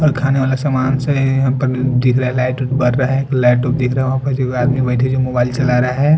और खाने वाले सामान से अपन देख रहा लाइट उट बाट रहा लाइट उट देख रहा दो आदमी बइठे जो मोबाइल चला रहे है ।